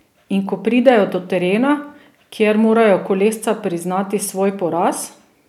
In ko pridejo do terena, kjer morajo kolesca priznati svoj poraz?